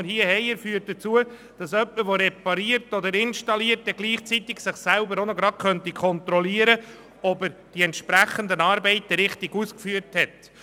Der Vorstoss führt dazu, dass jemand, der repariert oder installiert, sich gleichzeitig auch gerade selber darin kontrollieren könnte, ob er die entsprechenden Arbeiten richtig ausgeführt hat.